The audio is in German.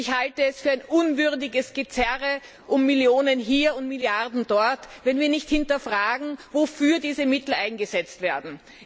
Ich halte es für ein unwürdiges Gezerre um Millionen hier und Milliarden dort, wenn wir nicht hinterfragen, wofür diese Mittel eingesetzt werden.